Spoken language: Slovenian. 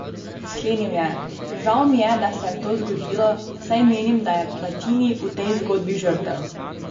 Sklenil je: "Žal mi je, da se je to zgodilo, saj menim, da je Platini v tej zgodbi žrtev.